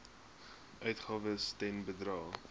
uitgawes ten bedrae